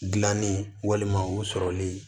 Gilanni walima o sɔrɔli